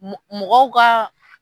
Mɔ mɔgɔw ka